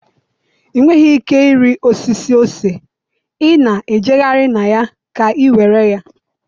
i nweghị ike ịrị osisi ose, ị na-ejegharị na ya ka iwere ya.